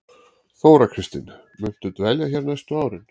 Þóra Kristín: Muntu dvelja hér næstu árin?